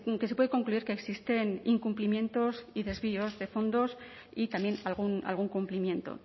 que se puede concluir que existen incumplimientos y desvíos de fondos y también algún cumplimiento